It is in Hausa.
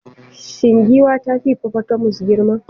Shin giwa ta fi hippopotamus girma?